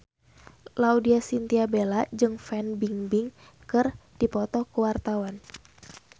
Laudya Chintya Bella jeung Fan Bingbing keur dipoto ku wartawan